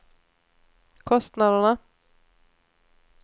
kostnaderna